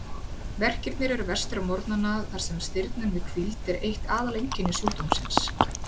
Verkirnir eru verstir á morgnana þar sem stirðnun við hvíld er eitt aðaleinkenni sjúkdómsins.